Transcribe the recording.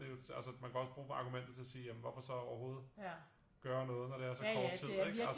Det jo altså man kan også bruge argumentet til at sige jamen hvorfor så overhovedet gøre noget når det er så kort tid ikke